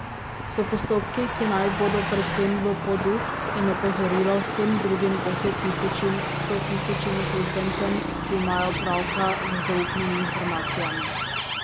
So postopki, ki naj bodo predvsem v poduk in opozorilo vsem drugim desettisočim, stotisočim uslužbencem, ki imajo opravka z zaupnimi informacijami.